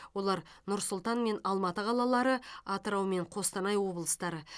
олар нұр сұлтан мен алматы қалалары атырау мен қостанай облыстары